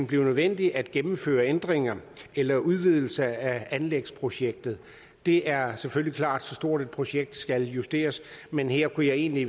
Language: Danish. blive nødvendigt at gennemføre ændringer eller udvidelse af anlægsprojektet det er selvfølgelig klart at så stort et projekt skal justeres men her kunne jeg egentlig